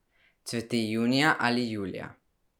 Cveti junija ali julija.